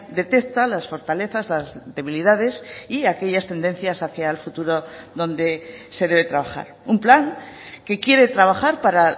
detecta las fortalezas las debilidades y aquellas tendencias hacia el futuro donde se debe trabajar un plan que quiere trabajar para